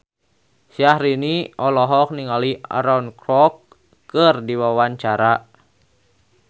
Syahrini olohok ningali Aaron Kwok keur diwawancara